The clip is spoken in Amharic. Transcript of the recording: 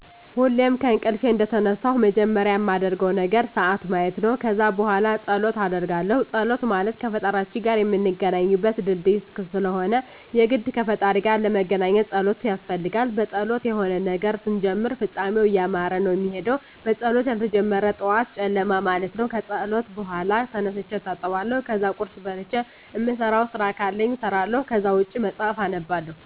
ሁሌም ከእንቅልፌ እንደተነሳሁ መጀመሪያ ማደርገው ነገር ስዓት ማየት ነው። ከዛ በኋላ ፀሎት አደርጋለሁ ፀሎት ማለት ከፈጣሪያችን ጋር ምንገናኝበት ድልድይ ስለሆነ የግድ ከፈጣሪ ጋር ለመገናኜት መፀለይ ያስፈልጋል። በፀሎት የሆነን ነገር ስንጀምር ፍፃሜው እያማረበት ነው ሚሄደው በፀሎት ያልተጀመረ ጠዋት ጨለማ ማለት ነው። ከፀሎት በኋላ ተነስቼ እታጠባለሁ ከዛ ቁርስ በልቼ እምሰራቸው ስራ ካሉኝ እሰራለሁ ከዛ ውጭ መፅሐፍ አነባለሁ።